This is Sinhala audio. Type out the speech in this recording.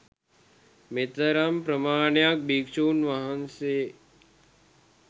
මෙතරම් ප්‍රමාණයක් භික්ෂුන් වහන්සේ